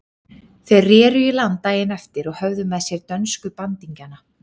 Þeir reru í land daginn eftir og höfðu með sér dönsku bandingjana.